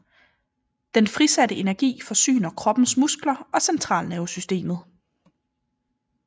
Den frisatte energi forsyner kroppens muskler og centralnervesystemet